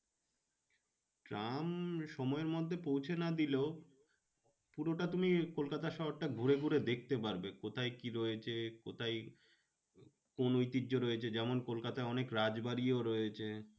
Tram সময়ের মধ্যে পৌঁছে দিলেও পুরোটা তুমি কলকাতা শহরটা ঘুরে ঘুরে দেখতে পারবে। কোথায় কি রয়েছে কোথায় কোন ঐতিহ্য রয়েছে যেমন কলকাতায় অনেক রাজবাড়ি ও রয়েছে